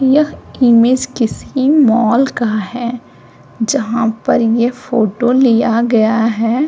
यह इमेज किसी मॉल का है। जहाँ पर ये फोटो लिया गया है।